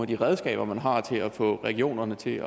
de redskaber man har til at få regionerne til